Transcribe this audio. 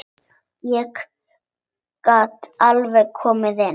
Ég get alveg komið inn.